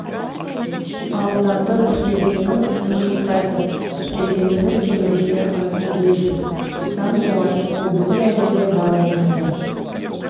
ал заңды тіркелсеңіз тыныш ұйықтайсыз тіркелгіңіз келмесе айыппұл төлейсіз заң солай бұл бүкіл әлемде бар орынды